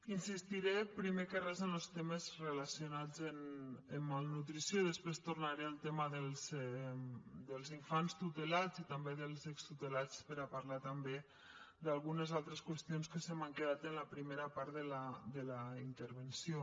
insistiré primer que res en los temes relacionats amb malnutrició i després tornaré al tema dels infants tutelats i també dels extutelats per a parlar també d’algunes altres qüestions que se m’han quedat en la primera part de la intervenció